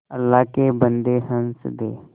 अल्लाह के बन्दे हंस दे